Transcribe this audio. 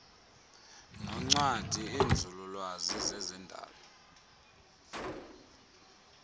noncwadi iinzululwazi zezendalo